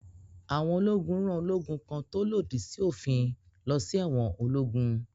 Àwọn ológun rán ológun kan tó lòdì sí òfin lọ sí ẹ̀wọn ológún.